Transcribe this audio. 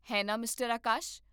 ਹੈ ਨਾ, ਮਿਸਟਰ ਆਕਾਸ਼?